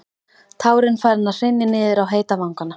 Tárin farin að hrynja niður á heita vanga.